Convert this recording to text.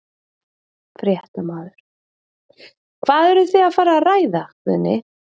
Fréttamaður: Hvað eruð þið að fara að ræða Guðni?